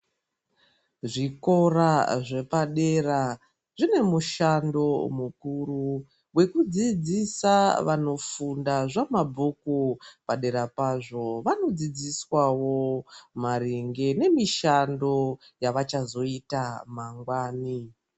Zvikora zvepadera zvine mushando mukuru, wekudziidzisa zvamabhuku, padera pazvo vanodziidziswawo maringe nemishando yavachazoita mangwani.